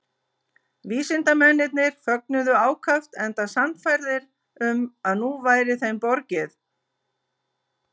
Vísindamennirnir fögnuðu ákaft enda sannfærðir um að nú væri þeim borgið.